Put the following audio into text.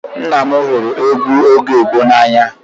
Nna m hụrụ egwu oge gboo n'anya